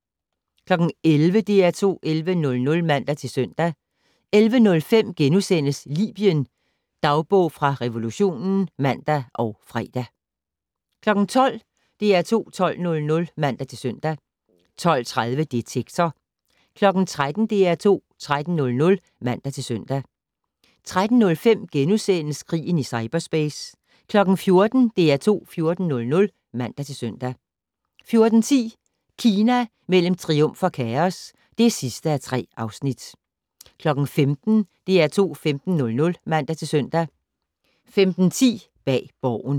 11:00: DR2 11:00 (man-søn) 11:05: Libyen - dagbog fra revolutionen *(man og fre) 12:00: DR2 12:00 (man-søn) 12:30: Detektor 13:00: DR2 13:00 (man-søn) 13:05: Krigen i cyperspace * 14:00: DR2 14:00 (man-søn) 14:10: Kina mellem triumf og kaos (3:3) 15:00: DR2 15:00 (man-søn) 15:10: Bag Borgen